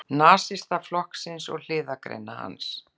Nasistaflokksins og hliðargreina hans.